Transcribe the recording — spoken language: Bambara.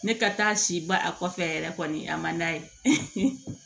Ne ka taa si ba a kɔfɛ yɛrɛ kɔni a ma n'a ye